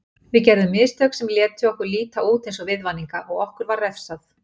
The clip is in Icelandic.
Við gerðum mistök sem létu okkur líta út eins og viðvaninga og okkur var refsað.